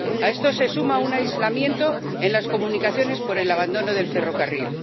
A esto se suma un aislamiento en las comunicaciones por el abandono del ferrocarril.